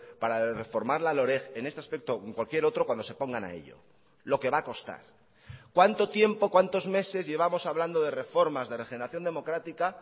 para reformar la loreg en este aspecto o en cualquier otro cuando se pongan a ello lo que va a costar cuánto tiempo cuántos meses llevamos hablando de reformas de regeneración democrática